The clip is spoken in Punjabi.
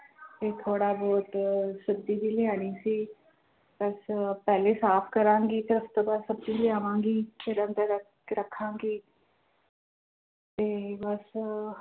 ਤੇ ਥੋੜ੍ਹਾ ਬਹੁਤ ਸਬਜ਼ੀ ਵੀ ਲਿਆਉਣੀ ਸੀ ਬਸ ਪਹਿਲੇ ਸਾਫ਼ ਕਰਾਂਗੀ ਫਿਰ ਉਸ ਤੋਂ ਬਾਅਦ ਸਬਜ਼ੀ ਲਿਆਵਾਂਗੀ ਫਿਰ ਅੰਦਰ ਰੱਖ~ ਰੱਖਾਂਗੀ ਤੇ ਬਸ